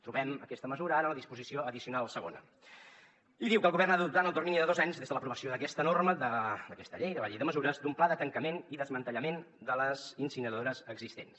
trobem aquesta mesura ara a la disposició addicional segona i diu que el govern ha d’adoptar en el termini de dos anys des de l’aprovació d’aquesta norma d’aquesta llei de la llei de mesures un pla de tancament i desmantellament de les incineradores existents